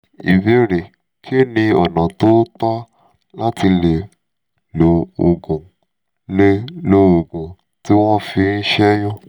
ìbéèrè: kí ni ọ̀nà tó tọ́ láti lè lo òògun lè lo òògun tí wọ́n fi ń ṣẹ́yún?